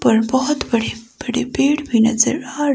पर बहुत बड़े बड़े पेड़ भी नजर आ --